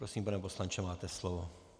Prosím, pane poslanče, máte slovo.